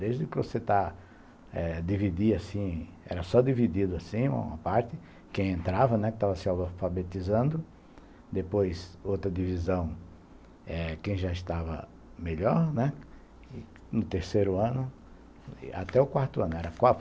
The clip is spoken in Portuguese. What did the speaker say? Desde que você está eh dividir assim, era só dividido assim, uma parte, quem entrava, né, que estava se alfabetizando, depois outra divisão, eh, quem já estava melhor, né, no terceiro ano, até o quarto ano.